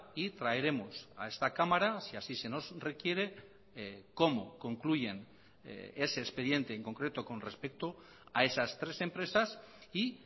y traeremos a esta cámara si así se nos requiere cómo concluyen ese expediente en concreto con respecto a esas tres empresas y